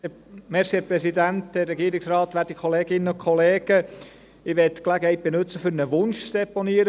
Ich möchte die Gelegenheit nutzen, um einen Wunsch zu deponieren.